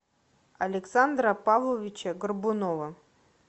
александра павловича горбунова